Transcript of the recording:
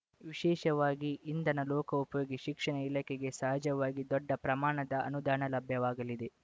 ವಿಶೇಷವಾಗಿ ಇಂಧನ ಲೋಕೋಪಯೋಗಿ ಶಿಕ್ಷಣ ಇಲಾಖೆಗೆ ಸಹಜವಾಗಿ ದೊಡ್ಡ ಪ್ರಮಾಣದ ಅನುದಾನ ಲಭ್ಯವಾಗಲಿದೆ